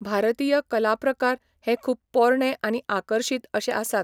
भारतीय कलाप्रकार हे खूब पोरणे आनी आकर्षीत अशें आसात